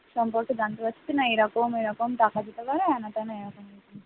সম্পর্কে জানতে পারছে না এরকম এরকম টাকা দিতে পারে